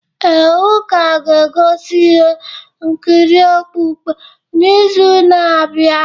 Ee, ụka ga-egosi ihe nkiri okpukpe n’izu na-abịa.